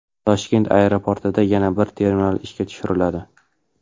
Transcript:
Toshkent aeroportida yana bir terminal ishga tushiriladi.